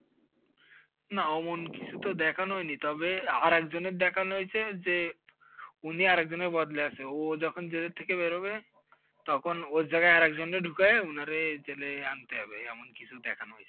না ওমন কিসু তো দেখানো হয়নি, তবে আরেকজনের দেখানো হইসে যে উনি একজনের বদলে আসে, ও যখন জেল থেকে বেরোবে তখন ওর জাগায় আর একজনরে ঢুকায়ে ওনারে জেলে আনতে হবে এমন কিসু দেখানো হইসে।